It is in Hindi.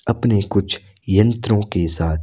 अपने कुछ यंत्रों के साथ--